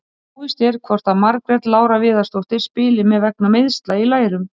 Óvíst er hvort að Margrét Lára Viðarsdóttir spili með vegna meiðsla í lærum.